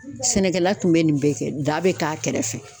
Sɛnɛkɛla tun bɛ nin bɛɛ kɛ da be k'a kɛrɛfɛ